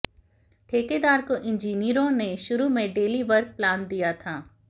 ठेकेदार को इंजीनियरों ने शुरू में डेली वर्क प्लान दिया था